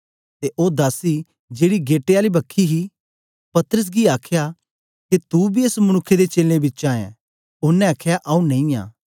ते ओ दासी जेड़ी गेटे आली ही पतरस गी आखया के तू बी एस मनुक्ख दे चेलें बिचा ऐं ओनें आखया आऊँ नेई आं